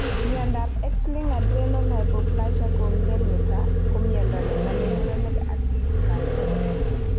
Miondo ap x linked adrenal hypoplasia congenita ko miondo ne namei murenik atkan tugul